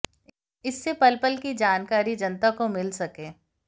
इससे पल पल की जानकारी जनता को मिल सके